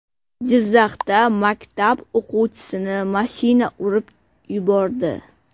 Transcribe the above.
Jizzaxda maktab o‘quvchisini mashina urib yubordi.